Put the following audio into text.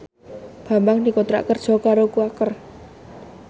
Bambang dikontrak kerja karo Quaker